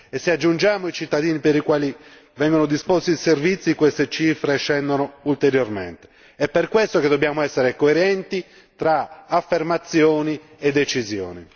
e se aggiungiamo i cittadini per i quali vengono disposti i servizi queste cifre scendono ulteriormente e per questo che dobbiamo essere coerenti tra affermazioni e decisione.